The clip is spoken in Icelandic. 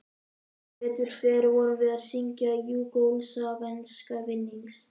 Sem betur fer vorum við að syngja júgóslavneska vinnings